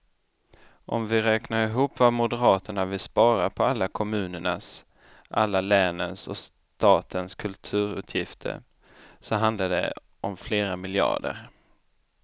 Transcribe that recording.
Om vi räknar ihop vad moderaterna vill spara på alla kommunernas, alla länens och statens kulturutgifter så handlar det om flera miljarder.